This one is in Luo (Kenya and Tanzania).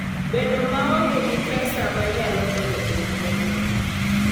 Bedo maonge gi pesa manyalo konyi e wuodhino.